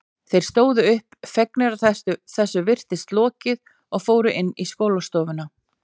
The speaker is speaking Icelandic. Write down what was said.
Þeir stóðu upp, fegnir að þessu virtist lokið og fóru inn í skólastofuna.